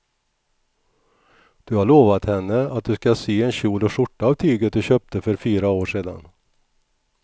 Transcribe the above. Du har lovat henne att du ska sy en kjol och skjorta av tyget du köpte för fyra år sedan.